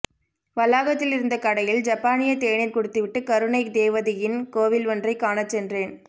வளாகத்திலிருந்த கடையில் ஜப்பானிய தேநீர் குடித்துவிட்டுக் கருணை தேவதையின் கோவில் ஒன்றை காணச்சென்றேன்